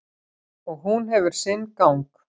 Og hún hefur sinn gang.